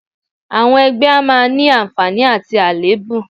Àwọn ẹgbẹ́ a máa ní àǹfààní àti àléébù